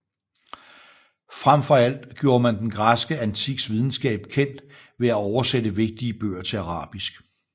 Fremfor alt gjorde man den græske antiks videnskab kendt ved at oversætte vigtige bøger til arabisk